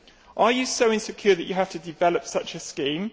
Are you so insecure that you have to develop such a scheme?